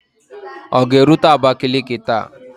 Ọ ga-erute Abakaliki taa?